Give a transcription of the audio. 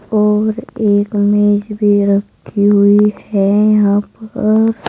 और एक मेज भी रखी हुई है यहां पर--